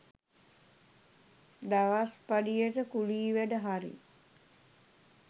දවස්පඩියට කුලී වැඩ හරි